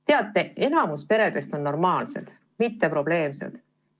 Teate, enamik peredest on normaalsed, mitte probleemsed.